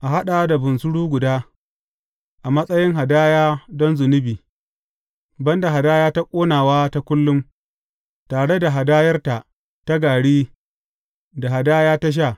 A haɗa da bunsuru guda, a matsayin hadaya don zunubi, ban da hadaya ta ƙonawa ta kullum, tare da hadayarta ta gari da hadaya ta sha.